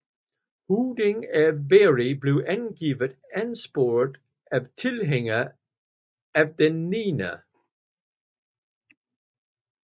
Høvdingen af Beri blev angiveligt ansporet af tilhængere af den 9